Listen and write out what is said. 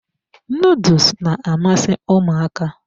Nuduls na-amasị ụmụaka.